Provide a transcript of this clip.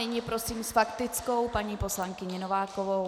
Nyní prosím s faktickou paní poslankyni Novákovou.